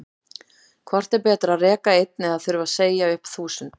Hvort er betra að reka einn eða þurfa að segja upp þúsund?